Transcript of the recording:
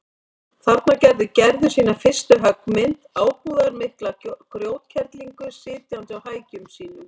Þarna gerði Gerður sína fyrstu höggmynd, ábúðarmikla grjótkerlingu sitjandi á hækjum sínum.